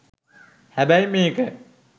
හැබැයි මේක